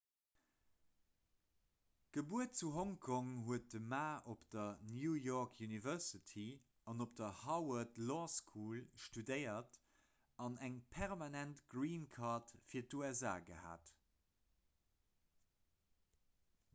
gebuer zu hongkong huet de ma op der new york university an op der harvard law school studéiert an eng permanent green card fir d'usa gehat